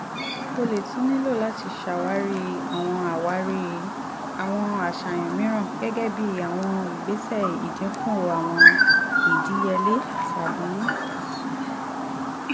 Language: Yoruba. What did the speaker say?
o le tun nilo lati ṣawari awọn ṣawari awọn aṣayan miiran gẹgẹbi awọn igbesẹ idinku awọn idiyele tabi